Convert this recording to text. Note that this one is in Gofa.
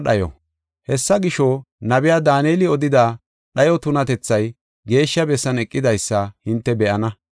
“Hessa gisho, nabiya Daaneli odida dhayo tunatethay geeshsha bessan eqidaysa hinte be7ana. (Akeekiso: Hessi woy guusseko nabbabeysi akeeko!)